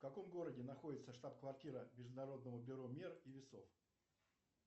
в каком городе находится штаб квартира международного бюро мер и весов